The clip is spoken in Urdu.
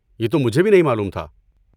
یہ تو مجھے بھی نہیں معلوم تھا۔